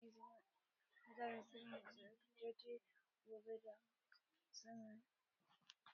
Mutane za su iya ci gaba da yarda da labarin ƙaryan dokin troja